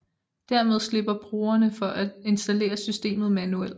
Dermed slipper brugerne for at installere systemet manuelt